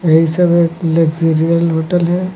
यह सब luxurious hotel है।